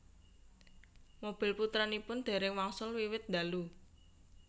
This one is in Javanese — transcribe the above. Mobil putranipun déréng wangsul wiwit ndalu